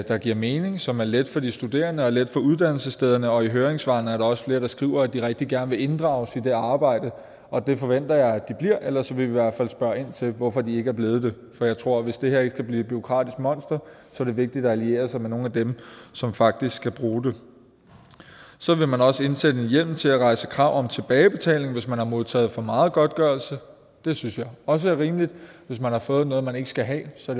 der giver mening og som er let for de studerende og let for uddannelsesstederne og i høringssvarene er der også flere der skriver at de rigtig gerne vil inddrages i det arbejde det forventer jeg at de bliver ellers vil vi i hvert fald spørge ind til hvorfor de ikke er blevet det for jeg tror at hvis det her ikke skal blive et bureaukratisk monster er det vigtigt at alliere sig med nogle af dem som faktisk skal bruge det så vil man også indsætte en hjemmel til at rejse krav om tilbagebetaling hvis man har modtaget for meget i godtgørelse det synes jeg også er rimeligt hvis man har fået noget man ikke skal have så